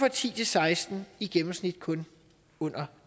og ti til seksten i gennemsnit kun under